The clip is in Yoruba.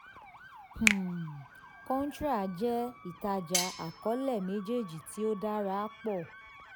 um contra jẹ́ ìtajà àkọọlẹ méjèèjì tí ó dára pọ̀.